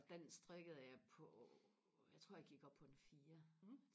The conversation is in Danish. og den strikkede jeg på jeg tror jeg gik op på en fire